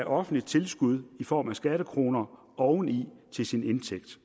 offentligt tilskud i form af skattekroner oven i sin indtægt